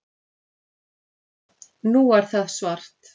Nú er það svart